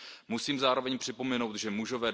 Musím zároveň připomenout, že muži